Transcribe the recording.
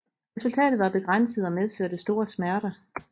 Resultatet var begrænset og medførte store smerter